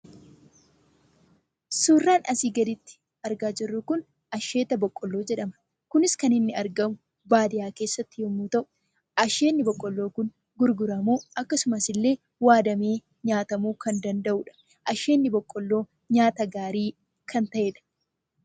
Suuraan asii gaditti argaa jirru kun asheeta boqqolloo jedhama. Kunis kan inni argamu baadiyyaa keessatti yeroo ta'u, asheetni boqqolloo kun gurguramuuf akkasumas waadamee nyaatamuu kan danda’udha. Asheetni boqqolloo nyaata gaarii kan ta’edha.